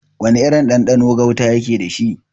Wana irin ɗanɗano gauta yake dashi?